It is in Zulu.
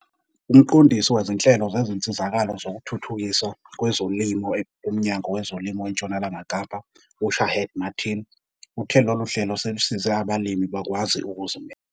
Umqondisi wezinhlelo zezinsizakalo zokuthuthukiswa kwezolimo kuMnyango weZolimo eNtshonalanga Kapa u-Shaheed Martin uthe lolu hlelo selusize abalimi bakwazi ukuzimela.